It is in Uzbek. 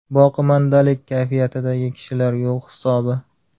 Boqimandalik kayfiyatidagi kishilar yo‘q hisobi.